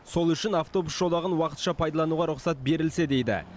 сол үшін автобус жолағын уақытша пайдалануға рұқсат берілсе дейді